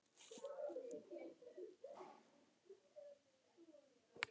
Henni fannst kvæðið alveg ferlega skemmtilegt þangað til við sungum